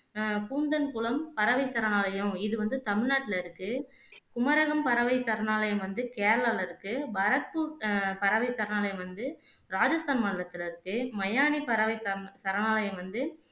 அஹ் கூந்தன்குலம் பறவை சரணாலயம் இது வந்து தமிழ்நாட்டுல இருக்கு குமரகோம் பறவை சரணாலயம் வந்து கேரலாவுல இருக்கு பரத்பூர் அஹ் பறவை சரணாலயம் வந்து ராஜஸ்தான் மாநிலத்துல இருக்கு மையானி பறவை சம் சரணாலயம் வந்து